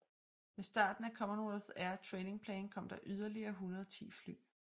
Med starten af Commonwealth Air Training Plan kom der yderligere 110 fly